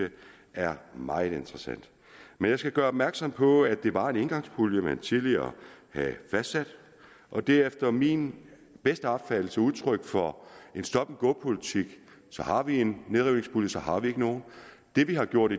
er meget interessant men jeg skal gøre opmærksom på at det var en engangspulje man tidligere havde fastsat og det er efter min bedste opfattelse udtryk for en stop and go politik så har vi en nedrivningspulje og så har vi ikke nogen det vi har gjort